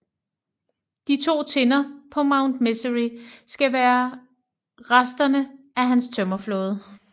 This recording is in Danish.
De to tinder på Mount Misery skal være resterne af hans tømmerflåder